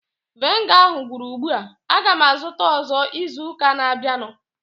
Viniga ahu gwụrụ ugbua. Aga m azụta ọzọ izu ụka na-abịanụ